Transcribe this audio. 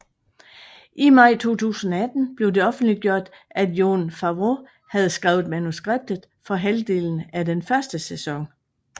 I maj 2018 blev det offentliggjort at Jon Favreau havde skrevet manuskriptet for halvdelen af den første sæson